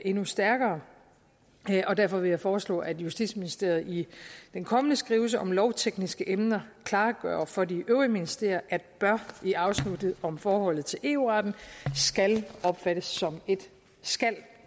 endnu stærkere og derfor vil jeg foreslå at justitsministeriet i den kommende skrivelse om lovtekniske emner klargør for de øvrige ministerier at bør i afsnittet om forholdet til eu retten skal opfattes som et skal